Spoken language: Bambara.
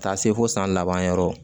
Ka taa se fo san laban yɔrɔ